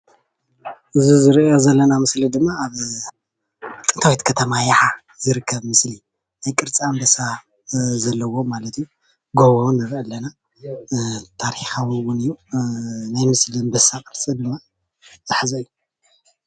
እዚ እንሪኦ ዘለና ኣብ ጥንታዊት ኸተማ ይሓ ዝርከብ ምስሊ ናይ ቅርፂ ኣንበሳ ዘለዎም ማለት እዩ ጎቦ እውን ንርኢ ኣለና ታሪካዊ እውን እዩ ናይ ምስሊ ኣንበሳ ቅርፂ ድማ ዝሓዘ እዩ ።